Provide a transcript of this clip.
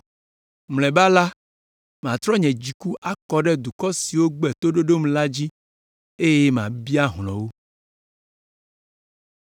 Mlɔeba la, matrɔ nye dziku akɔ ɖe dukɔ siwo gbe toɖoɖom la dzi eye mabia hlɔ̃ wo.”